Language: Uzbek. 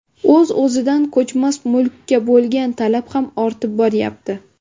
O‘z-o‘zidan ko‘chmas mulkka bo‘lgan talab ham ortib borayapti.